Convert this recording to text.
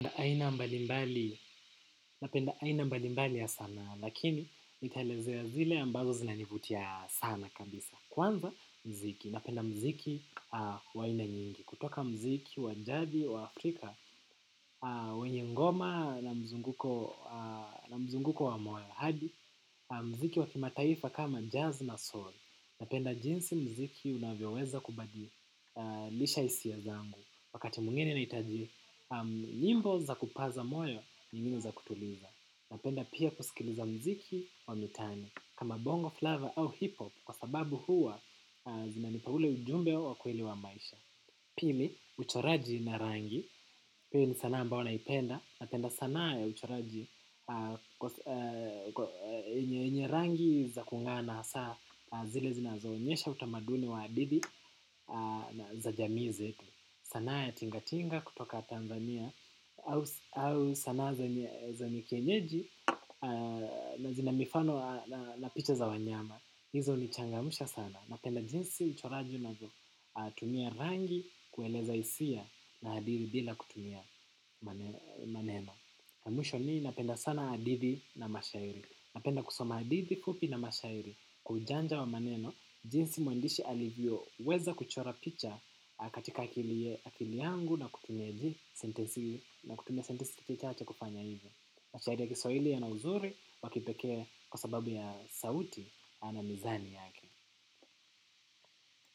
Aina mbalimbali napenda aina mbalimbali ya sana lakini nitaelezea zile ambazo zinanivutia sana kabisa kwanza mziki napenda mziki wa aina nyingi kutoka mziki wa jadi wa Afrika wenye ngoma na mzunguko wa moe hadi mziki wa kimataifa kama jazz na soul napenda jinsi mziki unavyoweza kubadilisha hisia zangu wakati mwingine nahitaji nyimbo za kupaza moyo ni nyimbo za kutuliza napenda pia kusikiliza mziki wa mitani kama bongo flavor au hip hop kwa sababu huwa zina nipa ule ujumbe wa kuelewa maisha. Pili uchoraji na rangi hio ni sanaa ambayo naipenda napenda sanaa ya uchoraji yenye rangi za kung'aa na hasaa zile zinazoonyesha utamaduni wa adili za jamizi sanaa ya tingatinga kutoka Tanzania au sanaa za mikienyeji na zinamifano na picha za wanyama. Hizo hunichangamsha sana. Napenda jinsi uchoraji unavyotumia rangi kueleza hisia na hadithi bila kutumia maneno. Na mwisho ni napenda sana hadithi na mashairi. Napenda kusoma hadithi fupi na mashairi kwa ujanja wa maneno. Jinsi muandishi alivyoweza kuchora picha katika akili yangu na kutumia sentensi chache kufanya hivyo. Mashairi ya kiswahili yana uzuri wakipekee kwa sababu ya sauti na mizani yake.